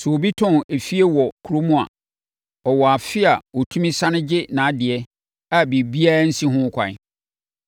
“ ‘Sɛ obi tɔn efie wɔ kurom a, ɔwɔ afe a ɔtumi sane gye nʼadeɛ a biribiara nsi no ho ɛkwan.